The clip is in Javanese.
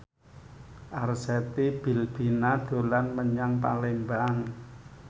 Arzetti Bilbina dolan menyang Palembang